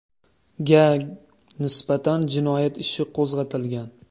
ga nisbatan jinoyat ishi qo‘zg‘atilgan.